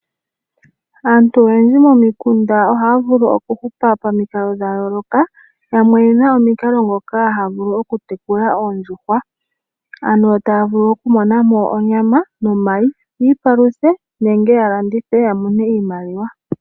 Aantu oyendji momikunda ohaya vulu okuhupa pamikalo dha yooloka, yamwe oye na omikalo ndhoka haya vulu okutekula oondjuhwa ano taya vulu okumonamo onyama nomayi yiipaluthe nenge ya landithe ya mone iimaliwa.